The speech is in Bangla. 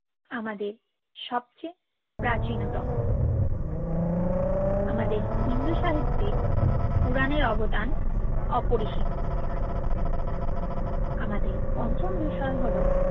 আমাদের সবচেয়ে প্রাচীনও তম আমাদের হিন্দু সাহিত্যে পুরানের অবদান অপরিসীম আমাদের পন্চম বিষয় হল